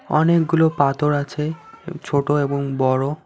অনেকগুলো পাথর আছে ছোট এবং বড়ো।